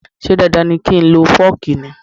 Ṣé dandan ni kí o lo fooki ni?